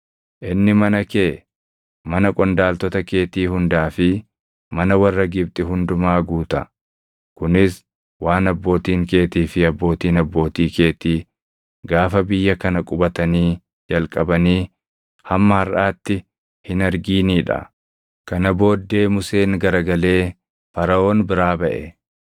Inni mana kee, mana qondaaltota keetii hundaa fi mana warra Gibxi hundumaa guuta; kunis waan abbootiin keetii fi abbootiin abbootii keetii gaafa biyya kana qubatanii jalqabanii hamma harʼaatti hin arginii dha.’ ” Kana booddee Museen garagalee Faraʼoon biraa baʼe.